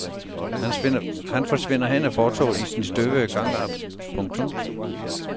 Han forsvinder hen ad fortovet i sin tøvende gangart. punktum